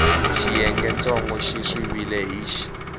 xiyengentsongo xi siviwile hi x